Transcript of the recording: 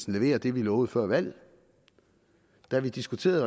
leverer det vi lovede før valget da vi diskuterede